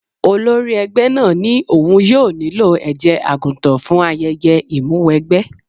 Olórí ẹgbẹ́ náà ní òun yóò nílò ẹ̀jẹ̀ àgùntàn fún ayẹyẹ ìmúwẹgbẹ́.